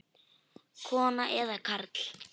Kona eða karl?